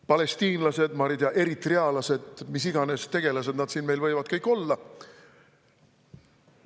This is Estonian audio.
Pean silmas palestiinlasi, eritrealasi ja mis iganes tegelasi siin võib olla.